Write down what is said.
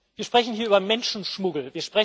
Wir sprechen hier über Menschenschmuggel.